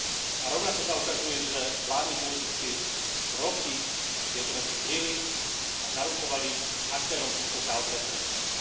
A rovnako sa ukazuje, že vládni politici roky tieto veci kryli a zaručovali aktérom týchto káuz beztrestnosť.